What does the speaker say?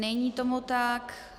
Není tomu tak.